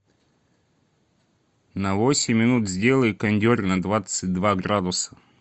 на восемь минут сделай кондер на двадцать два градуса